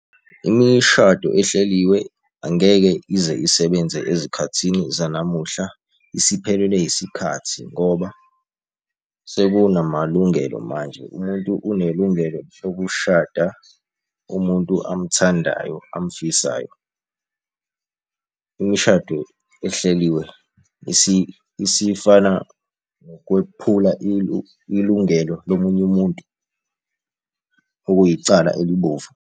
Imishado ehleliwe angeke ize isebenze ezikhathini zanamuhla, isiphelelwe isikhathi ngoba sekunamalungelo manje. Umuntu unelungelo lokushada umuntu amthandayo amfisayo. Imishado ehleliwe isifana nokwephula ilungelo lomunye umuntu okuyicala elibomvu.